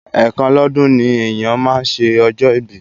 Ẹ̀ẹ̀kan lọ́dún ni èèyàn máa ń ṣe ọjọ́ ìbí